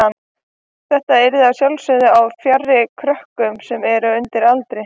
Þetta yrði að sjálfsögðu á stað fjarri krökkum sem eru undir aldri.